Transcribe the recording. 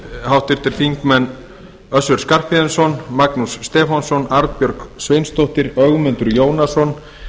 háttvirtir þingmenn össur skarphéðinsson magnús stefánsson arnbjörg sveinsdóttir ögmundur jónasson